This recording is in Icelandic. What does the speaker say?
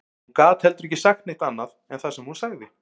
Hún gat heldur ekki sagt neitt annað en það sem hún sagði